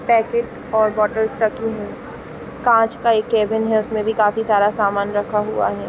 Packet और bottles रखी है कांच का एक कैबिन है उसमें भी काफ़ी सारा सामान रखा हुआ है ।